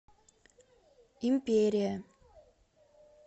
империя